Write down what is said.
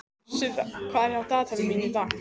Sirra, hvað er í dagatalinu í dag?